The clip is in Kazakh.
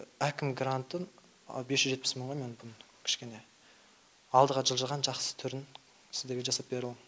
әкім грантын бес жүз жетпіс мыңға мен мүмкін кішкене алдыға жылжыған жақсы түрін сіздерге жасап бере алам